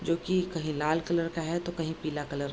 जो की कही लाल कलर का है तो कही पीला कलर --